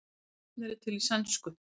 Svipuð nöfn eru til í sænsku.